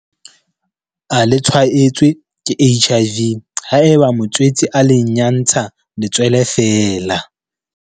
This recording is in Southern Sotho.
a le tshwaetswe ke HIV haeba motswetse a le nyantsha letswele feela.